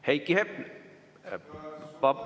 Heiki Hepner.